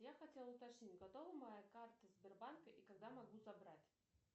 я хотела уточнить готова моя карта сбербанка и когда могу забрать